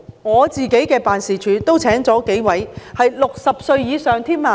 我的辦事處亦聘請了幾位60歲以上的員工。